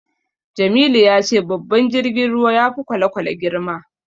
Jamilu ya ce babban jirgin ruwa ya fi kwale-kwale girma.